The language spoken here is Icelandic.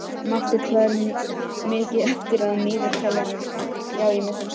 Marteinn, hvað er mikið eftir af niðurteljaranum?